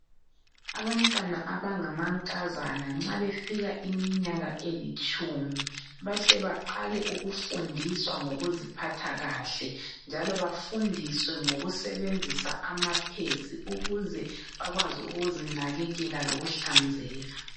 Abantwana abangamankazana nxa befika iminyaka elitshumi, bahle baqale ukufundiswa ngokuziphatha kahle njalo bafundiswe ukusebenzisa amapads ukuze bakwazi ukuzinakekela lokuhlanzeka.